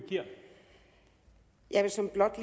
jeg